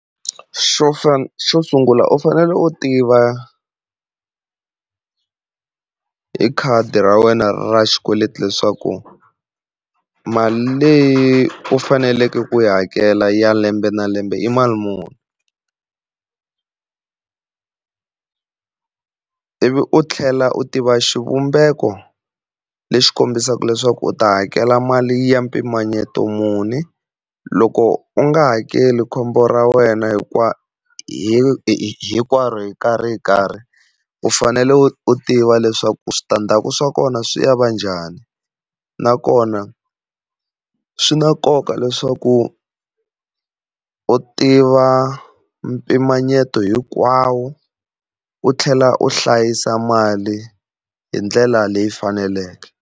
Xo fana, xo sungula u fanele u tiva hi khadi ra wena ra xikweleti leswaku mali leyi u faneleke ku yi hakela ya lembe na lembe i mali muni ivi u tlhela u tiva xivumbeko lexi kombisaka leswaku u ta hakela mali ya mpimanyeto muni, loko u nga hakeli khombo ra wena hinkwaro hi karhi hi nkarhi. U fanele u ti tiva leswaku switandzhaku swa kona swi ya va njhani nakona swi na nkoka leswaku u tiva mpimanyeto hinkwawo u tlhela u hlayisa mali hi ndlela leyi faneleke.